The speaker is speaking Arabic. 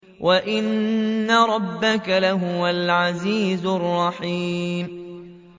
وَإِنَّ رَبَّكَ لَهُوَ الْعَزِيزُ الرَّحِيمُ